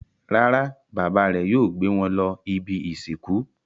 Rárá, bàbá rẹ̀ yóò gbé wọn lọ ibi-ìsìnkú.